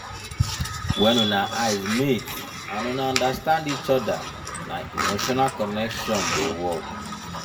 wen una eyes meet and una understand each oda na emotional connection dey work.